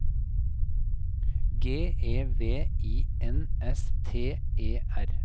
G E V I N S T E R